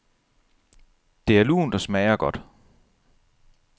Det er lunt og smager godt.